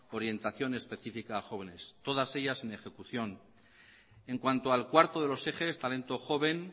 orientación específica a jóvenes todas ellas en ejecución en cuanto al cuarto de los ejes talento joven